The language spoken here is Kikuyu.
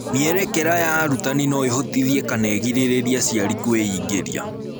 Mwerekera ya arutani no ĩhotithie kana ĩgirĩrĩrie aciari kwĩingĩria.